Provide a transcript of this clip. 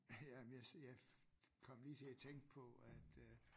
Ja men jeg jeg kom lige til at tænke på at øh